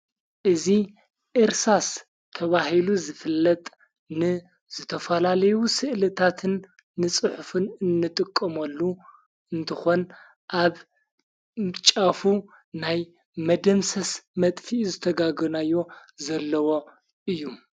እዚ እርሳስ ተብሂሉ ዝፍለጥ ን ዝተፈላለዩ ሥእልታትን ንጽሑፍን እንጥቀምሉ እንተኾን ኣብ ምጫፉ ናይ መድምሰስ መጥፊኡ ዘተጋገናዮ ዘለዎ እዩ::